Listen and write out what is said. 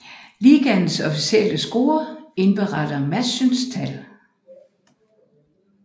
Ligaens officielle scorer indberetter matchens tal